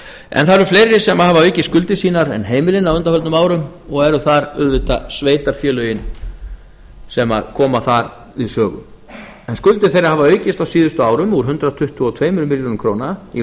það eru fleiri sem hafa aukið skuldir sínar en heimilin á undanförnum árum og eru þar auðvitað sveitarfélögin sem koma þar við sögu skuldir þeirra hafa aukist á síðustu árum úr hundrað tuttugu og tveimur milljörðum króna í